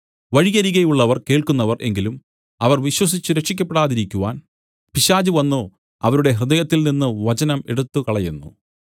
വഴിയരികെയുള്ളവർ കേൾക്കുന്നവർ എങ്കിലും അവർ വിശ്വസിച്ചു രക്ഷിയ്ക്കപ്പെടാതിരിക്കുവാൻ പിശാച് വന്നു അവരുടെ ഹൃദയത്തിൽ നിന്നു വചനം എടുത്തുകളയുന്നു